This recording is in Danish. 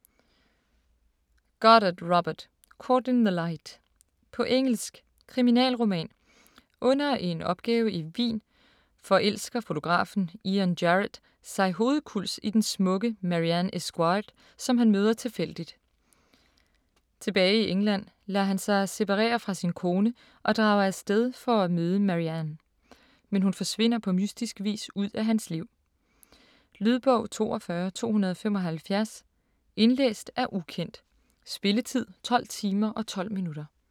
Goddard, Robert: Caught in the light På engelsk. Kriminalroman. Under en opgave i Wien forelsker fotografen Ian Jarrett sig hovedkulds i den smukke Marian Esguard, som han møder tilfældigt. Tilbage i England lader han sig separere fra sin kone og drager af sted for at møde Marian. Men hun forsvinder på mystisk vis ud af hans liv. Lydbog 42275 Indlæst af ukendt Spilletid: 12 timer, 12 minutter.